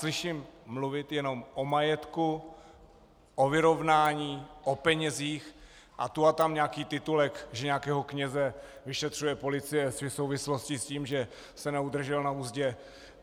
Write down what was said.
Slyším mluvit jenom o majetku, o vyrovnání, o penězích a tu a tam nějaký titulek, že nějakého kněze vyšetřuje policie v souvislosti s tím, že se neudržel na uzdě.